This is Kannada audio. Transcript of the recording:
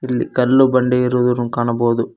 ಇದ್ರಲ್ಲಿ ಕಲ್ಲು ಬಂಡೆ ಇರುವುದನ್ನು ಕಾಣಬೋದು.